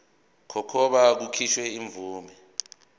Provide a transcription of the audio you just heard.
kokuba kukhishwe imvume